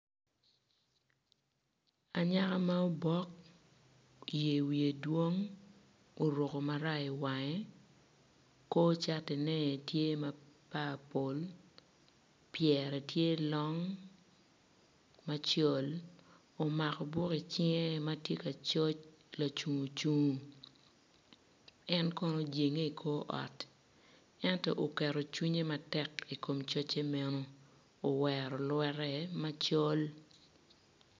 Anyaka ma obok yer wiye dwong oruko maraya iwange kor catine tye ma papul pyere tye long macol omako buk icinge ma tye coc lacungo cungo en kono ojenge i kor ot ento oketo cwinye matek i kom coce meno owero lwette macol.